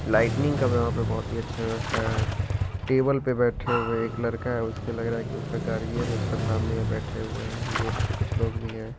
Lighting का यहां पर बहुत अच्छा व्यवस्था है टेबल पर बैठे हुए एक लड़का उसको लग रहा की उसका गाड़ी है ना उसके सामने में बैठे हुए हैं गेट पर कुछ लोग भी है।